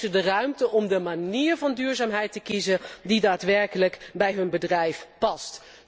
En geef ze de ruimte om de manier van duurzaamheid te kiezen die daadwerkelijk bij hun bedrijf past.